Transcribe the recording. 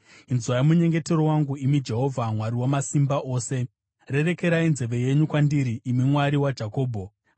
Inzwai munyengetero wangu, imi Jehovha Mwari Wamasimba Ose; rerekerai nzeve yenyu kwandiri, imi Mwari waJakobho. Sera